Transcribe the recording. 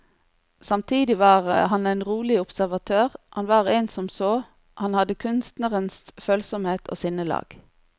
Samtidig var han en rolig observatør, han var en som så, han hadde kunstnerens følsomhet og sinnelag.